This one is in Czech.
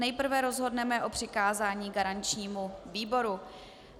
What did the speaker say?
Nejprve rozhodneme o přikázání garančnímu výboru.